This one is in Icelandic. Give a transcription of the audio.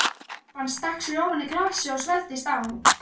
Pabbi hans stakk sér ofan í glasið og svelgdist á.